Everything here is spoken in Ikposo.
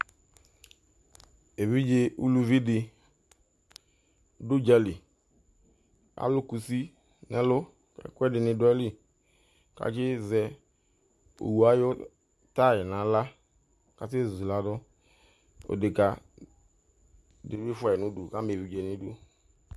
Evidze uluvidi du ʊdzali alʊ kʊsi nu ɛlu ɛkʊɛdi du ayilɩ ƙʊasizɛ owu ayu taya nu aɣla kase zuladu odekavidi fʊa nidu kama evidze nu idu